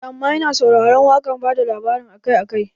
Aa amma ina sauraron waƙar bada labari akai akai